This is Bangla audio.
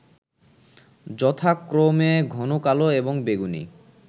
যথাক্রমে ঘন কালো এবং বেগুনী